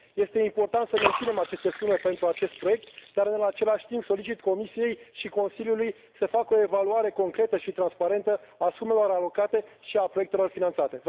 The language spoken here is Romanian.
Este important să menținem aceste sume pentru acest proiect dar, în același timp, solicit Comisiei și Consiliului să facă o evaluarea concretă și transparentă a sumelor alocate și a proiectelor finanțate.